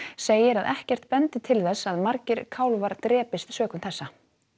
segir að ekkert bendi til þess að margir kálfar drepist sökum þessa